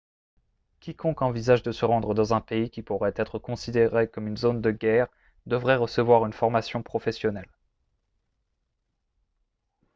quiconque envisage de se rendre dans un pays qui pourrait être considéré comme une zone de guerre devrait recevoir une formation professionnelle